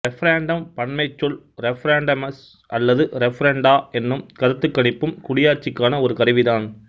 referendum பன்மைச் சொல் referendums அல்லது ரெஃபரெண்டா என்னும் கருத்துக்கணிப்பும் குடியாட்சிக்கான ஒரு கருவிதான்